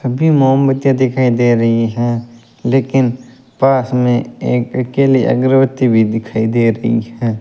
अभी मोमबत्तियां दिखाई दे रही हैं लेकिन पास में एक अकेले अगरबत्ती भी दिखाई दे रही है।